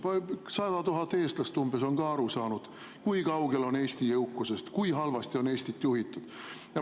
Umbes 100 000 eestlast on ka aru saanud, kui kaugel on Eesti jõukusest ja kui halvasti on Eestit juhitud.